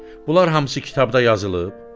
Bunlar hamısı kitabda yazılıb?